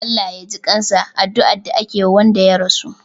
"Allah Ya jikansa" adduan da ake Wanda ya rasu